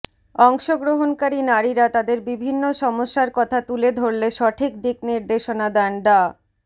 অংশগ্রহণকারী নারীরা তাদের বিভিন্ন সমস্যার কথা তুলে ধরলে সঠিক দিকনির্দেশনা দেন ডা